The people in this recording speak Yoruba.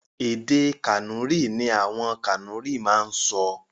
Èdè Kànúrì ní àwọn Kànúrì máa ń sọ.